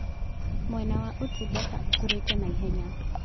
Mwena wa ũtungata ũkũrĩte naihenya.